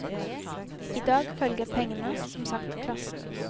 I dag følger pengene, som sagt, klassen.